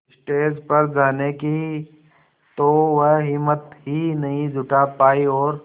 stage पर जाने की तो वह हिम्मत ही नहीं जुटा पाई और